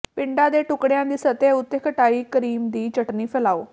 ਪਿੰਡਾ ਦੇ ਟੁਕੜਿਆਂ ਦੀ ਸਤਹ ਉੱਤੇ ਖਟਾਈ ਕਰੀਮ ਦੀ ਚਟਣੀ ਫੈਲਾਓ